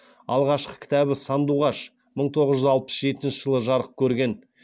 алғашқы кітабы сандуғаш мың тоғыз жүз алпыс жетінші жылы жарық көрген